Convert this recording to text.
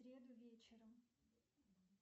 в среду вечером